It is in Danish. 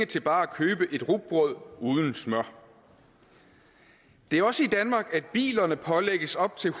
til bare at købe et rugbrød uden smør det er også i danmark at bilerne pålægges op til